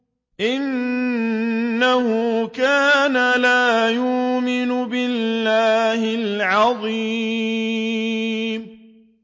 إِنَّهُ كَانَ لَا يُؤْمِنُ بِاللَّهِ الْعَظِيمِ